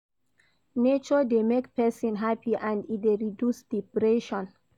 Nature de make persin happy and e de reduce depression